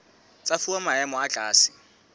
tsa fuwa maemo a tlase